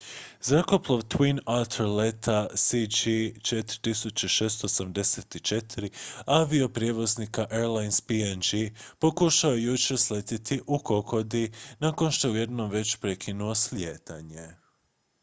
zrakoplov twin otter leta cg 4684 avioprijevoznika airlines png pokušao je jučer sletjeti u kokodi nakon što je jednom već prekinuo slijetanje